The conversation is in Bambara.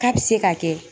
K'a bi se ka kɛ